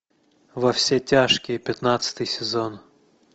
во все тяжкие пятнадцатый сезон